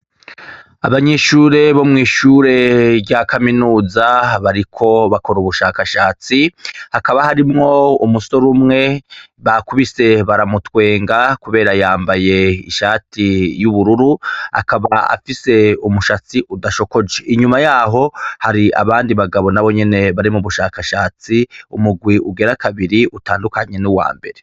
Abanyeshure bo mw'ishure rya kaminuza, bariko bakora ubushakashatsi, hakaba harimwo umusore umwe, bakubise baramutwenga, kubera yambaye ishati y'ubururu, akaba afise umushatsi udasokoje. Inyuma y'aho hari abandi bagabo nabonyene bari mu bushakashatsi, umugwi ugira kabiri utandukanye n'uwambere